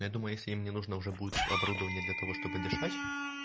я думаю если им не нужно уже будет оборудование для того чтобы дышать